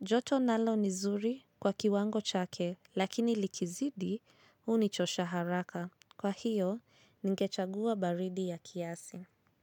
Joto nalo ni zuri kwa kiwango chake, lakini likizidi hunichosha haraka. Kwa hiyo, ningechagua baridi ya kiasi.